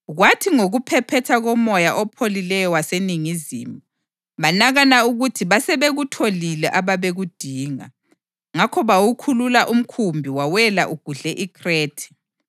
Kwathi ngokuphephetha komoya opholileyo waseningizimu, banakana ukuthi basebekutholile ababekudinga; ngakho bawukhulula umkhumbi wawela ugudle iKhrethe.